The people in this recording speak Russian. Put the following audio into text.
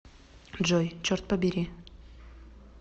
джой черт побери